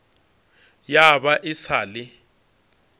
ya ba e sa le